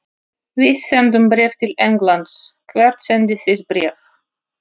Við sendum bréf til Englands. Hvert sendið þið bréf?